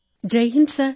Jai Hind sir